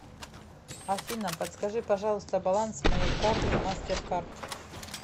афина подскажи пожалуйста баланс моей карты мастер кард